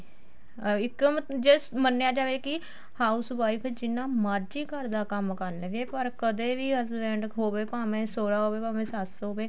ਅਹ ਇੱਕ ਜੇ ਮੰਨਿਆ ਜਾਵੇ ਕੀ house wife ਜਿੰਨਾ ਮਰਜੀ ਘਰ ਦਾ ਕੰਮ ਨੀ ਕਰ ਲਵੇ ਪਰ ਕਦੇ ਵੀ husband ਖੋਵੈ ਭਾਵੇ ਸੋਇਆ ਹੋਵੇ ਭਾਵੇ ਸੱਸ ਹੋਵੇ